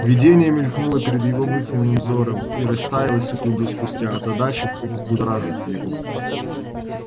видение мелькнуло перед его мысленным взором и растаяло секунду спустя озадачив и взбудоражив его